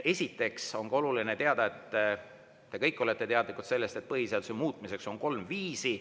Esiteks on oluline teada ja te ehk kõik olete teadlikud sellest, et põhiseaduse muutmiseks on kolm viisi.